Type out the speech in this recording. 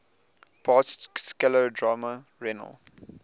past scleroderma renal